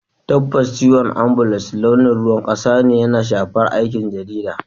Tabbas, ciwon ambulan launin ruwan kasa yana shafar aikin jarida.